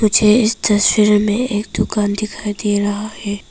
मुझे इस तस्वीर में एक दुकान दिखाई दे रहा है।